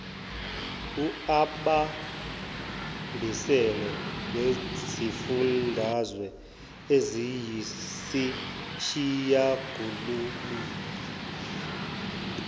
uibambisene nezifundazwe eziyisishiyagalolunye